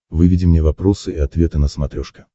выведи мне вопросы и ответы на смотрешке